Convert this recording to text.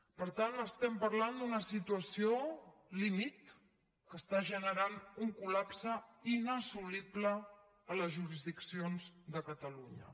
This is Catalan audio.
per tant estem parlant d’una situació límit que està generant un col·lapse inassolible a les jurisdiccions de catalunya